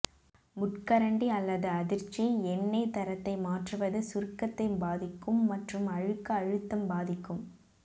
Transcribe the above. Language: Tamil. முட்கரண்டி அல்லது அதிர்ச்சி எண்ணெய் தரத்தை மாற்றுவது சுருக்கத்தை பாதிக்கும் மற்றும் அழுக்கு அழுத்தம் பாதிக்கும்